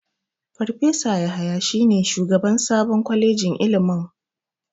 Farfesa Yahaya shine sabon shugaban kwalejin ilimin.